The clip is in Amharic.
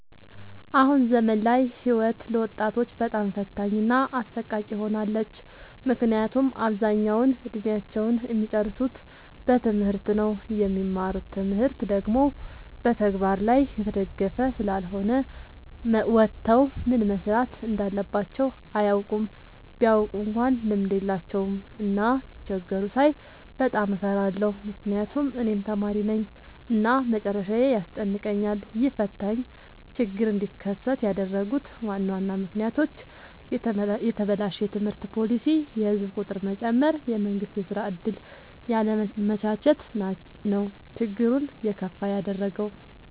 አሁን ዘመን ላይ ህይወት ለወጣቶች በጣም ፈታኝ እና አሰቃቂ ሆናለች። ምክንያቱም አብዛኛውን እድሜአቸውን እሚጨርሱት በትምህርት ነው። የሚማሩት ትምህርት ደግሞ በተግበር ላይ የተደገፈ ስላልሆነ ወተው ምን መስራት እንዳለባቸው አያውቁም። ቢያውቁ እንኳን ልምድ የላቸውም። እና ሲቸገሩ ሳይ በጣም እፈራለሁ ምክንያቱም እኔም ተማሪነኝ እና መጨረሻዬ ያስጨንቀኛል። ይህ ፈታኝ ችግር እንዲከሰት ያደረጉት ዋና ዋና ምክንያቶች፦ የተበላሸ የትምህርት ፓሊሲ፣ የህዝብ ቁጥር መጨመር፣ የመንግስት የስራ ዕድል ያለማመቻቸት ነው። ችግሩን የከፋ ያደረገው።